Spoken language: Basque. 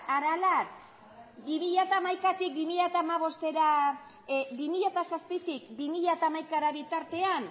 aralar bi mila zazpitik bi mila hamaikara bitartean